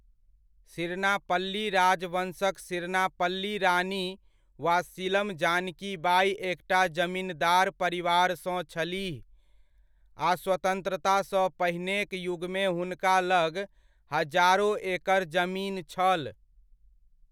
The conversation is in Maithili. सिरनापल्ली राजवंशक सिरनापल्ली रानी वा सीलम जानकी बाइ एकटा जमिनदार परिवारसँ छलीह आ स्वतंत्रतासँ पहिनेक युगमे हुनका लग हजारो एकड़ जमीन छल।